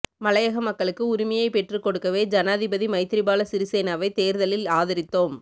மலையக மக்களுக்கு உரிமையை பெற்றுக்கொடுக்கவே ஜனாதிபதி மைத்திரிபால சிறிசேனவை தேர்தலில் ஆதரித்தோம்